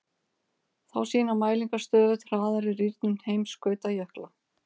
Þá sýna mælingar stöðugt hraðari rýrnun heimskautajökla.